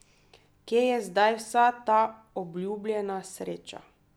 Kje je zdaj vsa ta obljubljena sreča?